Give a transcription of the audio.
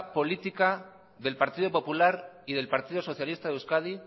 política del partido popular y del partido socialista de euskadi